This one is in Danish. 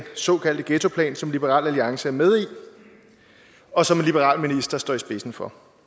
såkaldte ghettoplan som liberal alliance er med i og som en liberal minister står i spidsen for